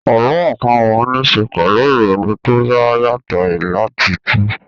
Àlọ́ àpamọ́ ní ṣe pẹ̀lú ìrònú tó dá yàtọ̀ láti túu